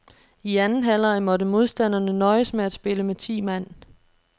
I anden halvleg måtte modstanderne nøjes med at spille med ti mand.